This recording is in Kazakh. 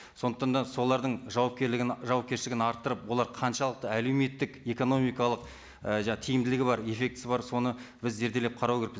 сондықтан да солардың жауапкершілігін арттырып олар қаншалықты әлеуметтік экономикалық і тиімділігі бар эффектісі бар соны біз зерделеп қарау керекпіз